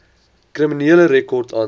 kriminele rekord aansoek